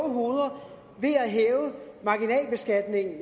hoveder ved at hæve marginalbeskatningen